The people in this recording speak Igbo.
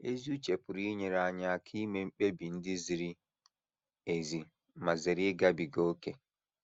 Ezi uche pụrụ inyere anyị aka ime mkpebi ndị ziri ezi ma zere ịgabiga ókè.